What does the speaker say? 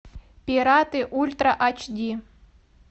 пираты ультра аш ди